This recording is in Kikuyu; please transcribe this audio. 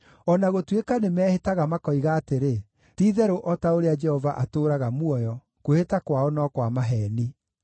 O na gũtuĩka nĩmehĩtaga makoigaga atĩrĩ, ‘Ti-itherũ o ta ũrĩa Jehova atũũraga muoyo,’ kwĩhĩta kwao no kwa maheeni.”